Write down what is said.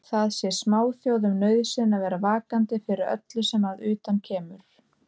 Það sé smáþjóðum nauðsyn að vera vakandi fyrir öllu sem að utan kemur.